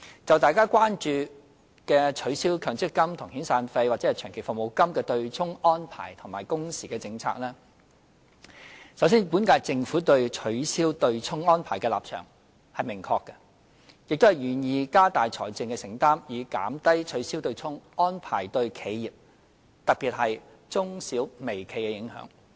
就大家關注的取消強制性公積金與遣散費或長期服務金的"對沖"安排及工時政策，首先，本屆政府對取消"對沖"安排的立場是明確的，亦願意加大財政承擔，以減低取消"對沖"安排對企業，特別是中小微企的影響。